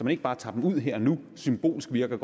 ikke bare tager dem ud her og nu symbolsk virker